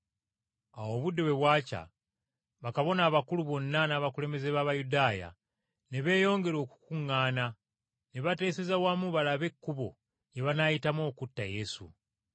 Awo obudde bwe bwakya, bakabona abakulu bonna n’abakulembeze b’Abayudaaya ne beeyongera okukuŋŋaana ne bateeseza wamu balabe ekkubo lye banaayitamu okutta Yesu.